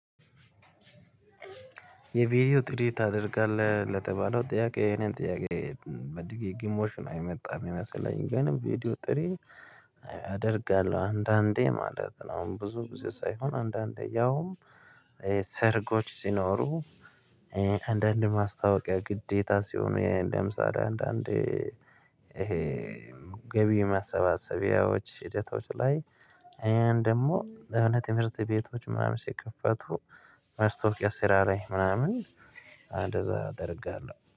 የቪዲዮ ጥሪ ታደርጋለህ ለተባለው ጥያቄ የኔን ጥያቄ በድግሞሽ የይመጣ እሚመስለኝ ግን ቪዲዮ ጥሪ። አደርጋለሁ አንዳንዴ ማለት ነው። አሁን ብዙ ጊዜ ሳይሆን አንዳንዴ ያውም ሰርጎች ሲኖሩ። አንዳንዴ ማስታወቂያ ግዴታ ሲሆኑ የእንደምሳሌ አንዳንድ ይሄ ገቢ ማሰባሰቢያዎች ሂደቶች ላይ ይሄን ደግሞ የሆነ የትምህርት ቤቶች ምናምን ሲከፈቱ። መስተዋወቂያ ስራ ላይ ምናምን አንደዛ እደርጋለሁ